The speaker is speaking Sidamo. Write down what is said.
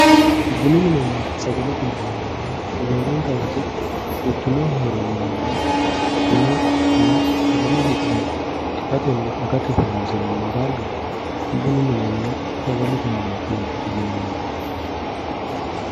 bunu minenna sagalete mine yinannihu roorenkawote quchumaho heeranno manni bunanna sagale hidhe itatenna agate horoonsiranno darga bunu minenna sagalete mineeti yinanni